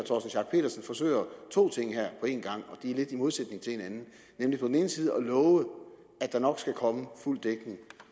forsøger to ting på én gang som lidt i modsætning til hinanden nemlig på den ene side at love at der nok skal komme fuld dækning